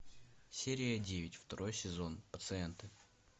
серия девять второй сезон пациенты